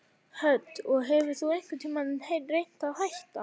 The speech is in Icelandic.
Hödd: Og hefur þú einhvern tímann reynt að hætta?